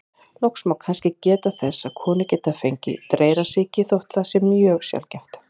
Loks má kannski geta þess að konur geta fengið dreyrasýki, þótt það sé mjög sjaldgæft.